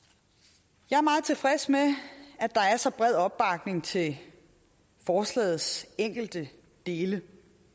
jeg er meget tilfreds med at der er så bred opbakning til forslagets enkelte dele